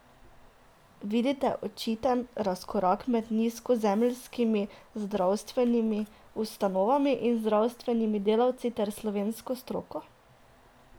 Vidite očiten razkorak med nizozemskimi zdravstvenimi ustanovami in zdravstvenimi delavci ter slovensko stroko?